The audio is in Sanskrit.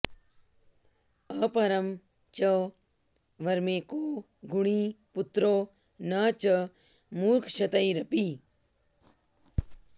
अपरं च वरमेको गुणी पुत्रो न च मूर्खशतैरपि